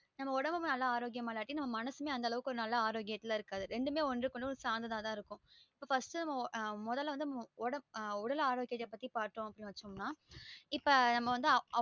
நம்ம உடம்புமே ஆரோக்கியமா இல்லாட்டி நம்ம மனசுமே அந்த உடம்புமே ஆரோக்கியமா இருக்காது ரெண்டுமே ஒன்னுக்கு ஒன்னு சார்ந்ததா தா இருக்கும் இப்ப நம்ம first முதல வந்து உடல் ஆரோக்கியம் பாத்தோம் அப்டின்னா இப்ப நம்ம வந்து ஆரோக்கியமாவே இருக்காது